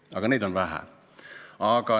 Aga neid on vähe.